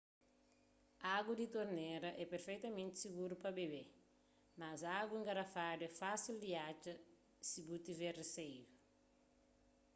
agu di tornera é perfetamenti siguru pa bébe mas agu engarafadu é fasil di atxa si bu tiver riseiu